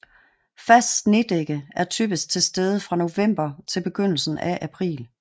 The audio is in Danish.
Fast snedække er typisk til stede fra november til begyndelsen af april